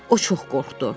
O çox qorxdu.